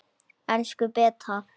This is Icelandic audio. Elsku Beta.